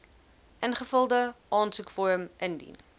ingevulde aansoekvorm indien